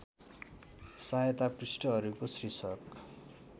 सहायता पृष्ठहरूको शीर्षक